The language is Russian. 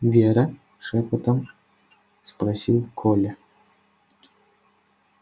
вера шёпотом спросил коля